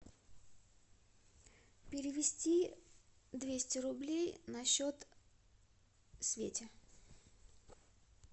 перевести двести рублей на счет свете